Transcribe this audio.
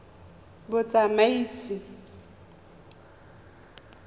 batsamaisi